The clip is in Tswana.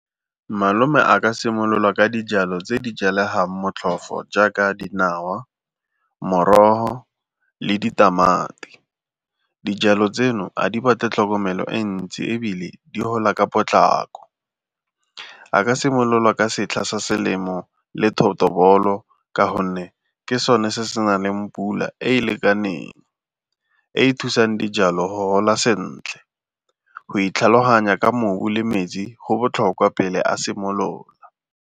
Malome a ka simolola ka dijalo tse di jalegang motlhofo jaaka dinawa, morogo le ditamati. Dijalo tseno a di batle tlhokomelo e ntsi ebile di gola ka potlako. A ka simolola ka setlha sa selemo le thotobolo ka gonne ke sone se se na leng pula e e lekaneng e e thusang dijalo go gola sentle, go itlhaloganya ka mobu le metsi go botlhokwa pele a simolola.